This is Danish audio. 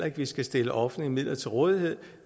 ikke vi skal stille offentlige midler til rådighed